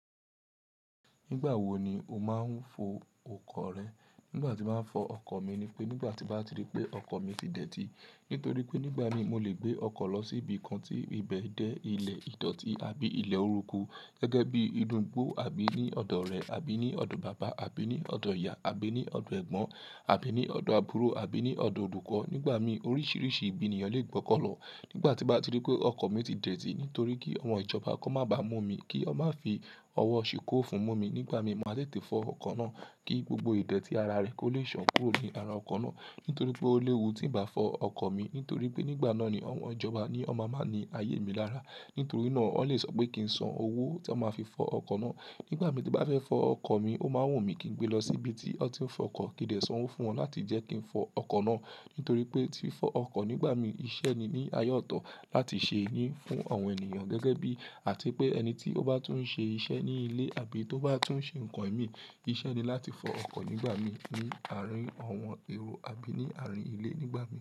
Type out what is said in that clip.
Nígbà wo ni o máa ń fọ ọkọ̀ rẹ? Nígbà tí mo máa ń fọ ọkọ̀ mi ni pé nígbà tí n bá ti ri pé ọkọ̀ mi ti dẹ̀tí. Nítorí pé nígbà míì mo lè gbé ọkọ̀ lọ síbi kan tí ibẹ̀ jẹ́ ilẹ̀ ìdọ̀tí àbí ilẹ̀ oruku gẹ́gẹ́ bí inú igbó àbí ní ọ̀dọ̀ ọ̀rẹ́ àbí ní ọ̀dọ̀ bàbá àbí ní ọ̀dọ̀ ìyá àbí ní ọ̀dọ̀ ẹ̀gbọ́n àbí ní ọ̀dọ̀ àbúrò àbí ní ọ̀dọ̀ olùkọ́. Nígbà míì oríṣìíríṣìí ibi nììyàn lè gbọ́kọ̀ lọ. Nígbà tí n bá ti rí pé ọkọ̀ mi ti dẹ̀tì nítorí kí àwọn ìjọba kan má báa mú mi, kí wọn má fi ọwọ́ ṣìkún òfin mú mi nígbà míì màá tètè fọ ọkọ̀ náà kí gbogbo ìdẹ̀tì ara rẹ̀ kó lè ṣàn kúrò ní ara ọkọ̀ náà. Nítorí pé ó léwu tí ǹ bá fọ ọkọ̀ mi, nítorí pé nígbà náà ni àwọn ìjọba ni wọn máa máa ni ayé mi lára. Nítorí náà wọ́n lè sọ pé kí n san owó tí wọ́n máa fi fọ ọkọ̀ náà. Nígbà míì tí n bá fẹ́ fọ ọkọ̀ mi, o máa ń wù mí kí n gbé e lọ síbi tí wọn ti ń fọ ọkọ̀ kí n dẹ̀ sanwó fún wọn láti jẹ́ kí n fọ ọkọ̀ náà. Nítorí pé tí fọ ọkọ̀ nígbà mi iṣẹ́ ni ní ààyè ọ̀tọ̀ láti ṣe ní fún àwọn ènìyàn gẹ́gẹ́ bí àti pé ẹni tí ó bá tún ń ṣe iṣẹ́ ní ilé àbí tó bá tún ń ṣe nǹkan ìmíì, iṣẹ́ ni láti fọ ọkọ̀ nígbà míì ní àárín àwọn èrò àbí ní àárín ilé nígbà míì.